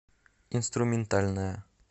инструментальная